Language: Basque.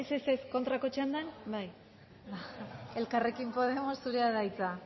kontrako txandan bai elkarrekin podemos zurea da hitza